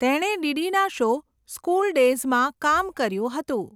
તેણે ડીડીના show 'school ડેઝ'માં કામ કર્યું હતું.